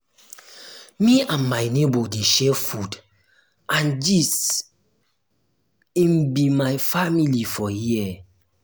me and my nebor dey share food and gist im be my family for here.